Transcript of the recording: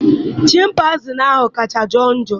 Chimpanzii ahụ kacha njọ.